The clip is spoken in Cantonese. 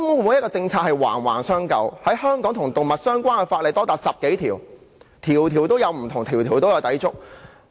每項政策都環環相扣，與動物相關的香港法例多達10多項，每項不同，每項均有抵觸。